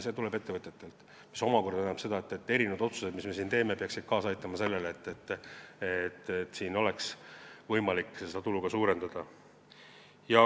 See tuleb ettevõtetelt, mis omakorda tähendab, et otsused, mis me siin teeme, peaksid kaasa aitama sellele, et oleks võimalik seda tulu suurendada.